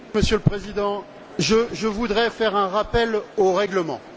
Monsieur le Président, je voudrais faire un rappel au règlement.